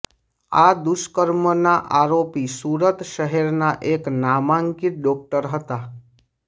આ દુષ્કર્મના આરોપી સુરત શહેરના એક નામાંકિત ડોકટર હતા